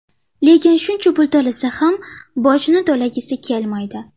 Lekin shuncha pul topsa ham, bojni to‘lagisi kelmaydi.